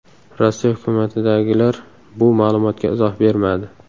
Rossiya hukumatidagilar bu ma’lumotga izoh bermadi.